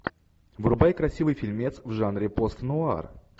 врубай красивый фильмец в жанре пост нуар